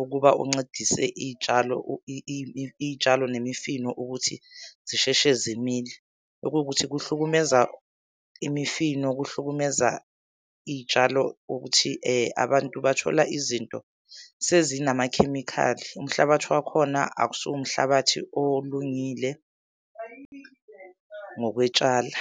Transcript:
ukuba uncedise iy'tshalo , iy'tshalo nemifino ukuthi zisheshe zimile. Okuwukuthi kuhlukumeza imifino, kuhlukumeza iy'tshalo ukuthi abantu bathola izinto sezinamakhemikhali. Umhlabathi wakhona akusiwo umhlabathi olungile ngokwetshala.